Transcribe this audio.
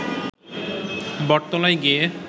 বটতলায় গিয়ে